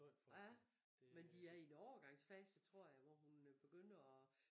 Ja men de er i en overgangsfase tror jeg hvor hun begynder og